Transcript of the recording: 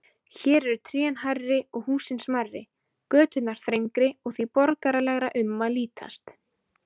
Hér eru trén hærri og húsin smærri, göturnar þrengri og því borgaralegra um að litast.